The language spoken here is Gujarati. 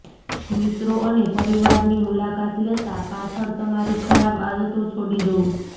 મિત્રો અને પરિવારની મુલાકાત લેતા પાછળ તમારી ખરાબ આદતો છોડી દો